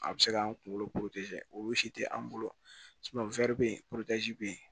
A bɛ se k'an kunkolo o si tɛ an bolo bɛ yen bɛ yen